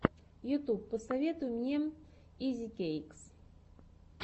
ютуб посоветуй мне изикэйкс